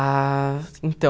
Ah, então...